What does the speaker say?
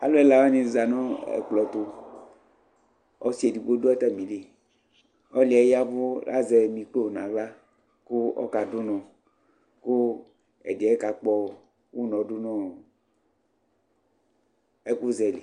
alʋ ɛla wanizanʋ ɛkplɔ ɛtʋ, ɔsii ɛdigbɔ dʋ atamili, ɔlʋɛ yavʋ azɛ micɔ nʋ ala kʋ ɔka dʋnɔ kʋ ɛdiɛ ka kpɔ ʋnɔ dʋnʋɔ ɛkʋ zɛ li